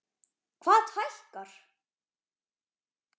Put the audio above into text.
Hvað hækkar?